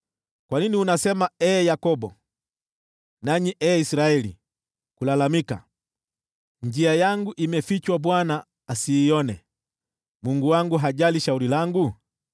Kwa nini unasema, ee Yakobo, nanyi ee Israeli, kulalamika, “Njia yangu imefichwa Bwana asiione, Mungu wangu hajali shauri langu?”